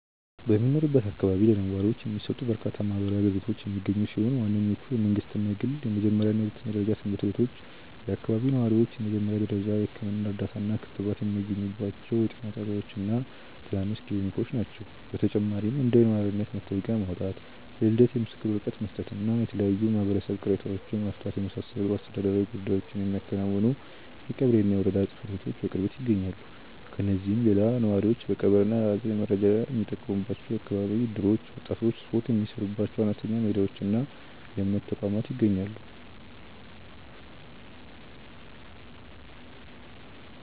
በሚኖርበት አካባቢ ለነዋሪዎች የሚሰጡ በርካታ ማህበራዊ አገልግሎቶች የሚገኙ ሲሆን፣ ዋነኞቹ የመንግሥትና የግል የመጀመሪያና ሁለተኛ ደረጃ ትምህርት ቤቶች፣ የአካባቢው ነዋሪዎች የመጀመሪያ ደረጃ የሕክምና እርዳታና ክትባት የሚያገኙባቸው የጤና ጣቢያዎችና ትናንሽ ክሊኒኮች ናቸው። በተጨማሪም እንደ የነዋሪነት መታወቂያ ማውጣት፣ የልደት ምስክር ወረቀት መስጠትና የተለያዩ የማህበረሰብ ቅሬታዎችን መፍታትን የመሳሰሉ አስተዳደራዊ ጉዳዮችን የሚያከናውኑ የቀበሌና የወረዳ ጽሕፈት ቤቶች በቅርበት ይገኛሉ። ከእነዚህም ሌላ ነዋሪዎች ለቀብርና ለሐዘን መረዳጃ የሚጠቀሙባቸው የአካባቢ እደሮች፣ ወጣቶች ስፖርት የሚሠሩባቸው አነስተኛ ሜዳዎችና የእምነት ተቋማት ይገኛሉ።